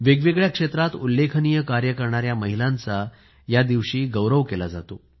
वेगवेगळ्या क्षेत्रात उल्लेखनीय कार्य करणाऱ्या महिलांचा या दिवशी गौरव केला जातो